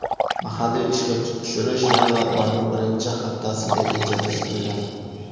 Mahalliy ishga tushirish yanvar oyining birinchi haftasiga rejalashtirilgan.